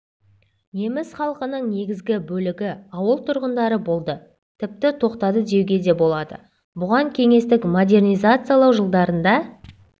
неміс халқының негізгі бөлігі ауыл тұрғындары болды тіпті тоқтады деуге де болады бұған кеңестік модернизациялау жылдарында